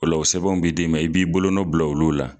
Ola o sɛbɛnw be d'e ma i b'i bolo bila olu la